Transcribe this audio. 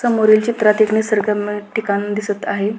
समोरील चित्रात एक निसर्गरम्य ठिकाण दिसत आहे.